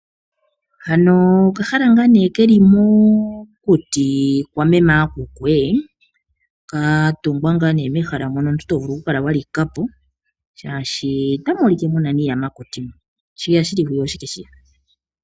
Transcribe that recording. Hano okahala ngaa nee keli mokuti kwa meme yakuku ee. Katungwa ngaa nee mehala mono omuntu tovulu oku kala wa likapo shaashi otamu ulike muna miiyamakuti mu shiya shili hwiya oshike shiya.